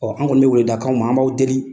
an kɔni bɛ weleweleda k'aw ma an b'aw deli.